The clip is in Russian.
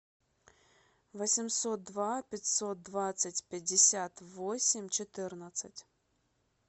восемьсот два пятьсот двадцать пятьдесят восемь четырнадцать